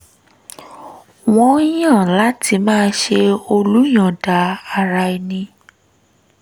wọ́n yàn láti máa ṣe olùyọ̀ǹda ara ẹni